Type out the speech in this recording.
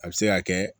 A bɛ se ka kɛ